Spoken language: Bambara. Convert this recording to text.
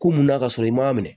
Ko munna ka sɔrɔ i m'a minɛ